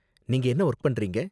நீங்க என்ன வொர்க் பண்றீங்க?